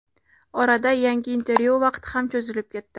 Orada yangi intervyu vaqti ham cho‘zilib ketdi.